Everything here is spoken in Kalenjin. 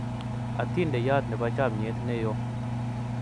atindeyot nebo chamiet neyo